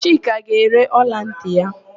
Chika ga-ere ọlantị ya.